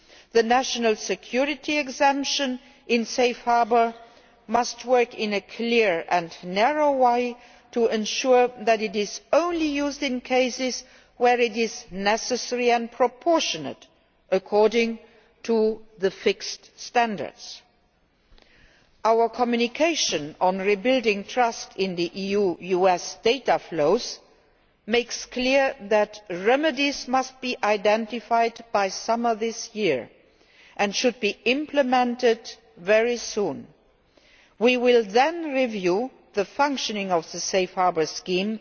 The national security exemption in Safe Harbour must work in a clear and narrow way to ensure that it is only used in cases where it is necessary and proportionate according to the fixed standards. Our Communication on Rebuilding Trust in EU US Data Flows makes clear that remedies must be identified by the summer of this year, and they should be implemented very soon. We will then review the functioning of the Safe Harbour